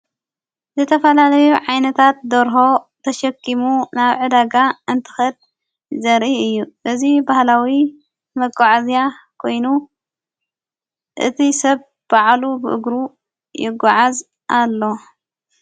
ዝተፈላለዩ ዓይነታት ደርሆ ተሸኪሙ ናብዕደጋ እንቲኽድ ዘርኢ እዩ እዙ ባህላዊ መጐዓዝያ ኮይኑ እቲ ሰብ በዕሉ ብእግሩ የጐዓዝ ኣሎ።